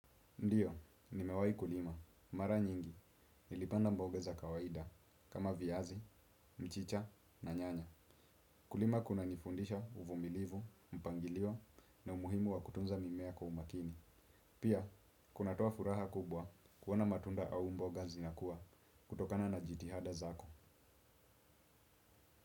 Ndio, nimewahi kulima, mara nyingi, nilipanda mboga za kawaida, kama viazi, mchicha na nyanya. Kulima kuna nifundisha uvumilivu, mpangilio na umuhimu wa kutunza mimea kwa umakini. Pia, kunatoa furaha kubwa kuona matunda au mboga zinakua, kutokana na jitihada zako.